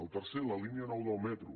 el tercer la línia nou del metro